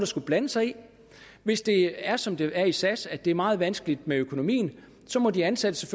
skulle blande sig i hvis det er som det er i sas at det er meget vanskeligt med økonomien må de ansatte